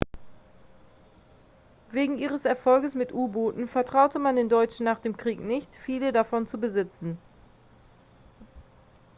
wegen ihres erfolges mit u-booten vertraute man den deutschen nach dem krieg nicht viele davon zu besitzen